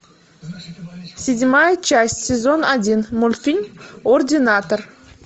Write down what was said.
седьмая часть сезон один мультфильм ординатор